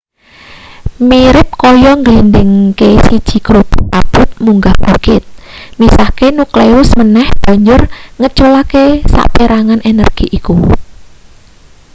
mirip kaya ngglindhingke siji grobak abot munggah bukit misahke nukleus meneh banjur ngeculake saperangan energi iku